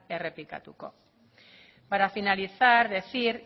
errepikatuko para finalizar decir